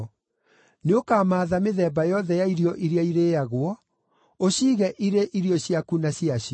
Nĩũkamaatha mĩthemba yothe ya irio iria irĩĩagwo, ũciige irĩ irio ciaku na ciacio.”